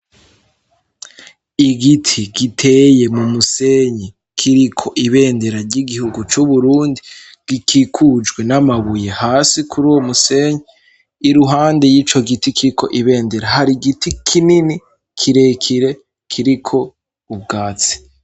Igiti giteye mu musenyi kiriko ibendera ry'igihugu c' Uburundi gikikujwe n'amabuye hasi kuri uwo musenyi, iruhande y'ico giti kiriko ibendera hari igiti kinini kirekire kiriko ubwatsi.